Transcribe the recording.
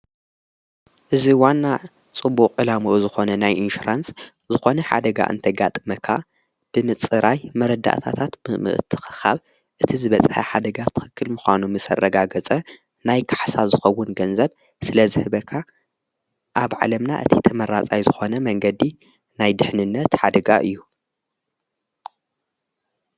እዝ ዋና ጽቡቕ ዕላሙኡ ዝኾነ ናይ ኢንሽራንስ ዝኾነ ሓደጋ እንተጋጥ መካ ብምጽራይ መረዳእታታት ምእምእቲ ኸኻብ እቲ ዝበጽሐ ሓደጋ ትኽክል ምዃኑ ምሰረጋገጸ ናይ ካሕሳ ዝኸውን ገንዘብ ስለ ዘህበካ ኣብ ዓለምና እቲ ተመራጻይ ዝኾነ መንገዲ ናይ ድኅንነት ኃደጋ እዩ::